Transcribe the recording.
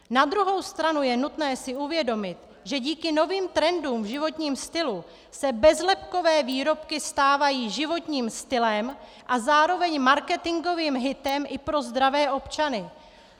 Na druhou stranu je nutné si uvědomit, že díky novým trendům v životním stylu se bezlepkové výrobky stávají životním stylem a zároveň marketingovým hitem i pro zdravé občany.